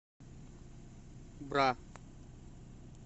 бра